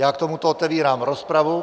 Já k tomuto otevírám rozpravu.